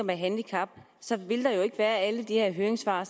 med handicap så ville der jo ikke være alle de her høringssvar